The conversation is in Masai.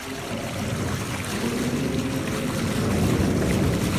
naapasha nilo kewarie teboo